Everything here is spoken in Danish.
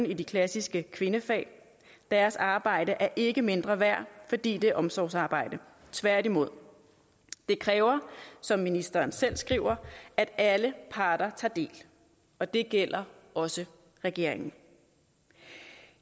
i de klassiske kvindefag deres arbejde er ikke mindre værd fordi det er omsorgsarbejde tværtimod det kræver som ministeren selv skriver at alle parter tager del og det gælder også regeringen